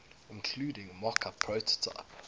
including mockup prototype